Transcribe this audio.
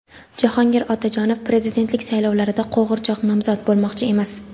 Jahongir Otajonov prezidentlik saylovlarida "qo‘g‘irchoq nomzod" bo‘lmoqchi emas.